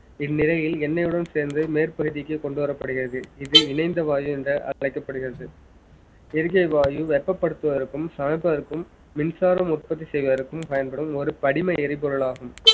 இந்நிலையில் எண்ணெயுடன் சேர்ந்து மேற்பகுதிக்கு கொண்டு வரப்படுகிறது இது இணைந்த வாயு என்று அழைக்கப்படுகிறது எரிக்கை வாயு வெப்பப்படுத்துவதற்கும் சமைப்பதற்கும் மின்சாரம் உற்பத்தி செய்வதற்கும் பயன்படும் ஒரு படிம எரிபொருளாகும்